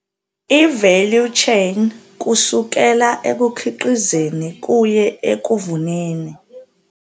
I-value chain kusukela ekukhiqizeni kuye ekuvuneni